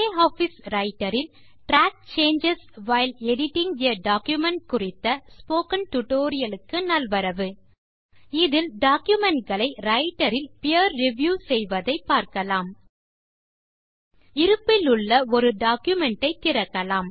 LibreOffice Writer இல் track changes while editing a document குறித்த spoken tutorial க்கு நல்வரவு இதில் டாக்குமென்ட் களை Writerஇல் பீர் ரிவ்யூ செய்வதை பார்க்கலாம் இருப்பிலுள்ள ஒரு டாக்குமென்ட் ஐ திறக்கலாம்